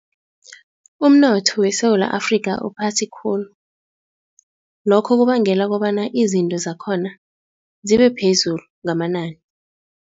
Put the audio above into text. Umnotho weSewula Afrika uphasi khulu. Lokho kubangela kobana izinto zakhona zibe phezulu ngamanani.